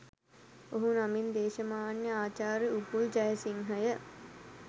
ඔහු නමින් දේශමාන්‍ය ආචාර්ය උපුල් ජයසිංහය